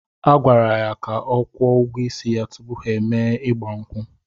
A gwara ya ka ọ kwụọ ụgwọ isi ya tupu ha emee igba nkwu